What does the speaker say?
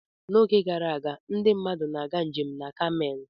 N'oge gara aga, ndị mmadụ na-aga njem na Kamel.